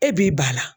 E b'i ba la